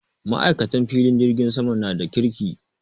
Maikatan filin jirgin sama na da kirki.